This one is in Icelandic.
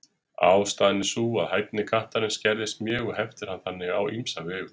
Ástæðan er sú að hæfni kattarins skerðist mjög og heftir hann þannig á ýmsa vegu.